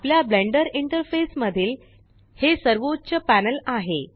आपल्या Blender interface मधील हे सर्वोच्च पॅनल आहे